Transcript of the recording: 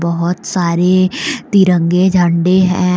बहुत सारे तिरंगे झंडे हैं।